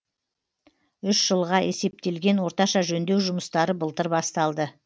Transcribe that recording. үш жылға есептелген орташа жөндеу жұмыстары былтыр басталды